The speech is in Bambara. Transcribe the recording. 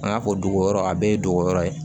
An ka ko dogoyɔrɔ a bɛɛ ye dogoyɔrɔ ye